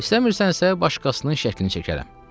İstəmirsənsə, başqasının şəklini çəkərəm.